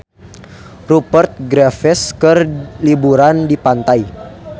Rupert Graves keur liburan di pantai